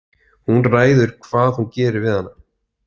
Hún ræður hvað hún gerir við hana.